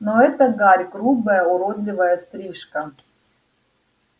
но эта гарь грубая уродливая стрижка